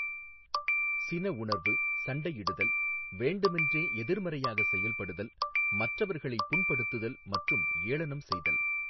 சின உணர்வு சண்டையிடுதல் வேண்டுமென்றே எதிர்மறையாக செயல்படுதல் மற்றவர்களை புண்படுத்துதல் மற்றும் ஏளனம் செய்தல்.